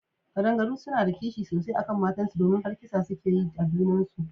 Kadangaru suna da kishi sosai akan matan su domin har kisa suke yi a junan su.